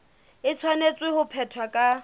e tshwanetse ho phethwa ka